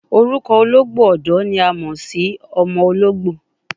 Orukọ ologbo ọdọ ni a mọ si ọmọ ologbo